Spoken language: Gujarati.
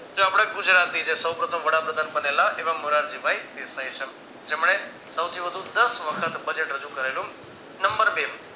તે આપડા જ ગુજરાત ની છે સૌ પ્રથમ વડાપ્રધાન બનેલા એવા મોરારજીભાઈ દેશાઇ છે જેમને સૌથી વધુ દસ વખત budget રજુ કરેલું નંબર બે